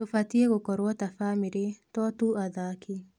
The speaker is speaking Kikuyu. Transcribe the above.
Tũbatie gũkorwo ta bamĩrĩ, to tu athaki